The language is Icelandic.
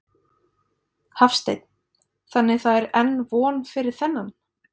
Hafsteinn: Þannig það er enn von fyrir þennan?